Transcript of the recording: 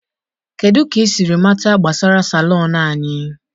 kedu ka ị siri mata gbasara Salon anyị?